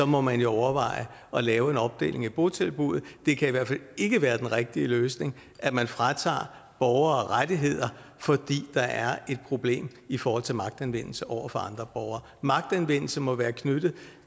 må man overveje at lave en opdeling af botilbuddet det kan i hvert fald ikke være den rigtige løsning at man fratager borgere rettigheder fordi der er et problem i forhold til magtanvendelse over for andre borgere magtanvendelse må være knyttet